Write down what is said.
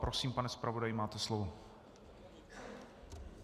Prosím, pane zpravodaji, máte slovo.